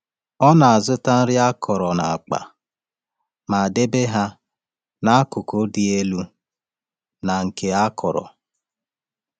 Ọ na-azụta nri akọrọ n’akpa ma debe ha n’akụkụ dị elu na nke akọrọ.